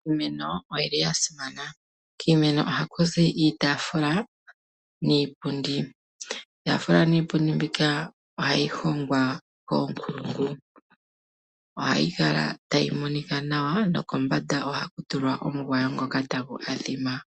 Iimeno oyili yasimana. Kiimeno okuli haku zi iitafula niipundi. Iitaafula niipundi ohayi hongwa koonkulungu ohayi kala tayi monika naw nokomband ohaku tulwa omugoya ngoka tagu pathima.